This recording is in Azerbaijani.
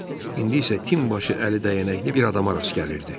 İndi isə hər tin başı əli dəyənəkli bir adama rast gəlirdi.